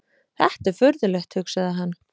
Þetta er furðulegt, hugsaði hann.